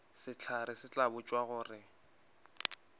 sehlare se tla botšwa gore